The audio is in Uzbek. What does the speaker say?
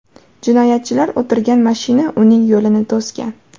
Jinoyatchilar o‘tirgan mashina uning yo‘lini to‘sgan.